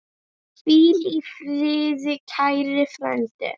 Hvíl í friði, kæri frændi.